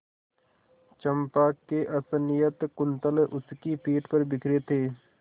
चंपा के असंयत कुंतल उसकी पीठ पर बिखरे थे